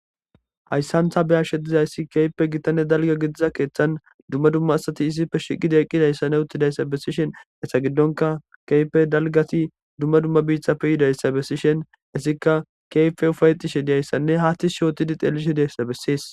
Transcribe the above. Haysan ta be'ashe dizaysa kehipe gitanne dalga gidiza kethan dumma dumma asati issippe shiiqi eqidaysanne utidaysa besishen eta gidonkka kehipe dalgati dumma dumma bitappe yidaysa beshishen etikka kehipe ufayetishe dizaysanne ha tishi otidi xelishe dizaysa besese